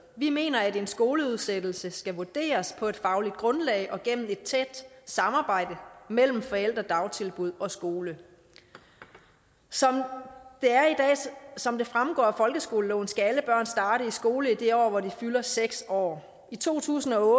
vi mener at en skoleudsættelse skal vurderes på et fagligt grundlag og gennem et tæt samarbejde mellem forældre dagtilbud og skole som det er og som det fremgår af folkeskoleloven skal alle børn starte i skole i det år hvor de fylder seks år i to tusind og